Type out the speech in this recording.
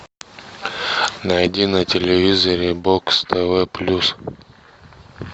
найди на телевизоре бокс тв плюс